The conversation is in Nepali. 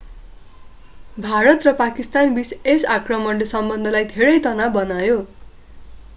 भारत र पाकिस्तानबीच यस आक्रमणले सम्बन्धलाई धेरै तनाव बनायो